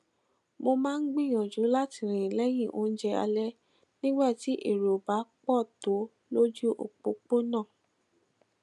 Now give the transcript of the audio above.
mo máa ń gbìyànjú láti rìn léyìn oúnjẹ alé nígbà tí èrò ò bá pò tó lójú òpópónà